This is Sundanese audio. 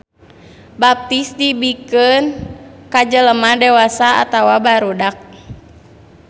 Baptis dibikeun ka jelema dewasa atawa barudak.